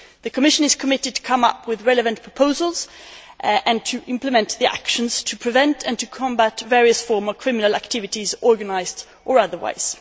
The Commission is committed to come up with relevant proposals, and to implement the actions to prevent and to combat various forms of criminal activities, organised or otherwise.